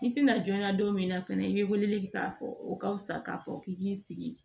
I tina jɔnya don min na fɛnɛ i be weleli kɛ k'a fɔ o ka fisa k'a fɔ k'i b'i sigi